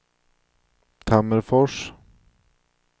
Tammerfors